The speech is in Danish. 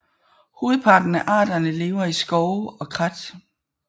Hovedparten af arterne lever i skove og krat